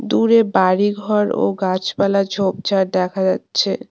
দূরে বাড়ি ঘর ও গাছপালা ঝোপঝাড় দেখা যাচ্ছে।